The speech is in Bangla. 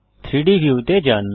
3ডি ভিউ তে যান